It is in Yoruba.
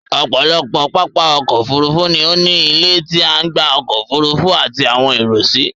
Ọ̀pọ̀lọpọ̀ pápá ọkọ̀ Òfurufú ni ó ní ilé tí a ń gba ọkọ̀ Òfurufú àti àwọn èrò si